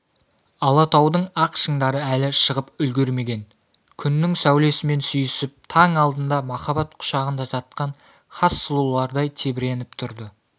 алатаудың ақ шыңдары әлі шығып үлгірмеген күннің сәулесімен сүйісіп таң алдында махаббат құшағында жатқан хас сұлулардай тебіреніп тұрды